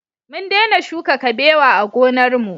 Mun dena shuka kabewa a gonar mu